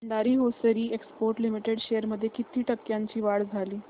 Bhandari Hosiery Exports Limited shares मध्ये किती टक्क्यांची वाढ झाली